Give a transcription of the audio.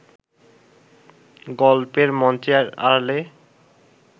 গল্পের মঞ্চের আড়ালে